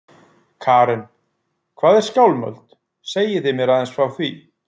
Karen: Hvað er Skálmöld, segið þið mér aðeins frá því?